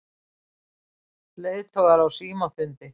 Leiðtogar á símafundi